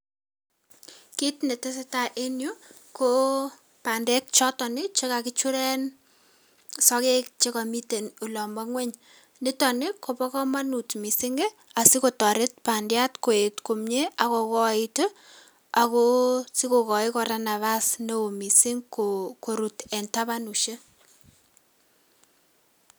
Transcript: Kit netesetai en yu koo bandek choton ii chekakichuren sokek chekomiten olombo ng'weny. Niton ni kobo komonut missing' ii asikotoret bandiat koet komie ak kokoit ii ago sikokoi kora napas neo missing' ko korut en tabanusiek.